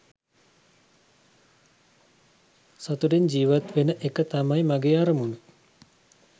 සතුටින් ජීවත්වෙන එක තමයි මගේ අරමුණ .